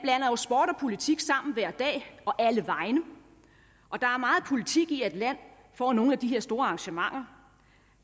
politik sammen hver dag og alle vegne og der er meget politik i at et land får nogle af de her store arrangementer